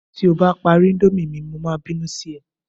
ti o ba pari Indomie mi, mo ma binu Si é